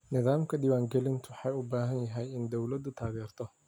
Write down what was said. Nidaamka diwaan gelinta waxa uu u baahan yahay in dawladdu taageerto.